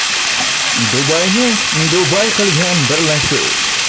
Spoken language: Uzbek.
Dubayni Dubay qilgan birlashuv.